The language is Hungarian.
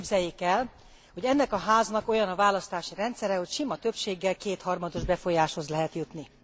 Képzeljék el, hogy ennek a Háznak olyan a választási rendszere, hogy sima többséggel kétharmados befolyáshoz lehet jutni.